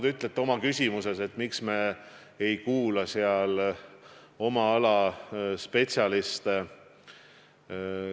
Te ütlete oma küsimuses, et miks me ei kuula oma ala spetsialiste.